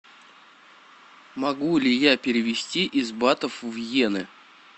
могу ли я перевести из батов в йены